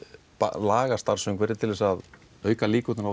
lagað starfsumhverfið til að auka líkurnar á